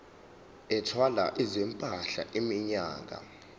ethwala izimpahla iminyaka